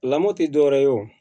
Lamɔ tɛ dɔwɛrɛ ye o